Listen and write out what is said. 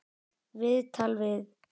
Viðtal við